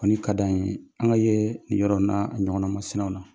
Kɔni kad'an ye, an ŋa yee nin yɔrɔw n"aa a ɲɔgɔnna masinaw la.